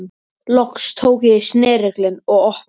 Loks tók ég í snerilinn og opnaði.